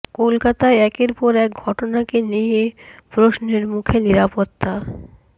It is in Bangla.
কলকাতায় একের পর এক ঘটনাকে নিয়ে প্রশ্নের মুখে নিরাপত্তা